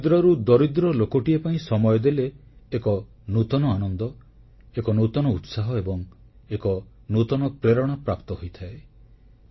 ଦରିଦ୍ରରୁ ଦରିଦ୍ର ଲୋକଟିଏ ପାଇଁ ସମୟ ଦେଲେ ଏକ ନୂତନ ଆନନ୍ଦ ଏକ ନୂତନ ଉତ୍ସାହ ଏବଂ ଏକ ନୂତନ ପ୍ରେରଣା ପ୍ରାପ୍ତ ହୋଇଥାଏ